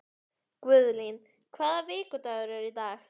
Guðlín, hvaða vikudagur er í dag?